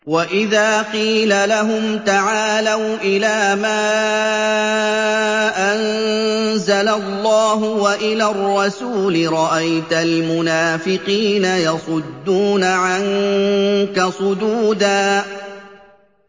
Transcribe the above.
وَإِذَا قِيلَ لَهُمْ تَعَالَوْا إِلَىٰ مَا أَنزَلَ اللَّهُ وَإِلَى الرَّسُولِ رَأَيْتَ الْمُنَافِقِينَ يَصُدُّونَ عَنكَ صُدُودًا